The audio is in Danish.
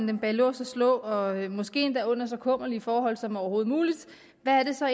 dem bag lås og slå og måske endda under så kummerlige forhold som overhovedet muligt hvad er det så